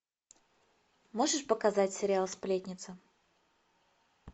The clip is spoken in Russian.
можешь показать сериал сплетница